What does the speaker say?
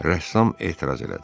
Rəssam etiraz elədi: